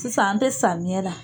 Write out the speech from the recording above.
Sisan an te samiyɛ ra